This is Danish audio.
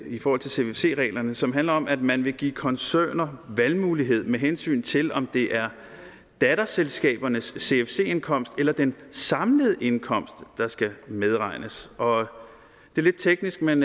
i forhold til cfc reglerne som handler om at man vil give koncerner valgmulighed med hensyn til om det er datterselskabernes cfc indkomst eller den samlede indkomst der skal medregnes det er lidt teknisk men